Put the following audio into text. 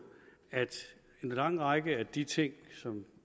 at en lang række af de ting som